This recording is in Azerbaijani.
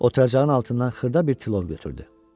Oturacağın altından xırda bir tilov götürdü.